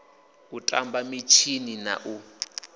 u tamba mitshini na u